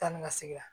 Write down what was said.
Taa ni ka segin